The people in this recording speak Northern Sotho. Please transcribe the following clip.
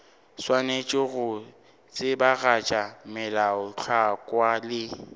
swanetše go tsebagatša melaotlhakwa le